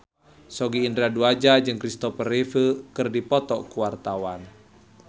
Sogi Indra Duaja jeung Christopher Reeve keur dipoto ku wartawan